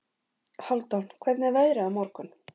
Hálfdan, hvernig er veðrið á morgun?